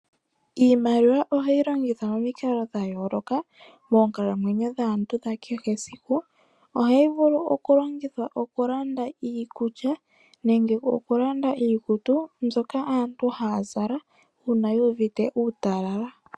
Iimaliwa ohayi longithwa momikalo dha yooloka moonkalamwenyo dhaantu dha kehe esiku. Ohayi vulu oku longithwa oku landa iikulya nengevoku landa iikutu mbyoka aantu haya zala uuna yu uvite uutalala.